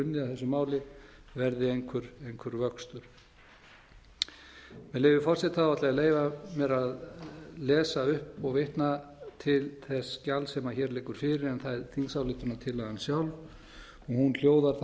unnið að þessu máli verði einhver vöxtur með leyfi forseta ætla ég að leyfa mér að lesa upp og vitna til þess gjalds sem hér liggur fyrir en það er þingsályktunartillagan sjálf hún hljóðar þannig